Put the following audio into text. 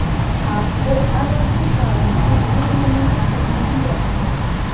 आपको अनैतिक कार्यों से दूर रहने की सलाह दी जाती है